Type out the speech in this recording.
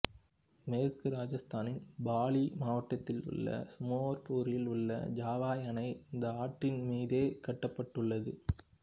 மேற்கு ராஜஸ்தானில் பாலி மாவட்டத்தில் உள்ள சுமேர்பூரில் உள்ள ஜவாய் அணை இந்த ஆற்றின் மீதே கட்டப்பட்டுள்ளது